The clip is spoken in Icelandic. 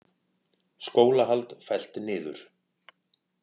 Skólahald fellt niður